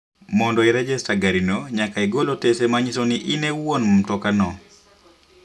Mondo irejesta gari no nyaka igol otese manyiso ni in iwuon matoka no.